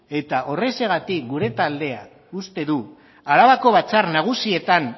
eta horrexegatik gure taldeak uste du arabako batzar nagusietan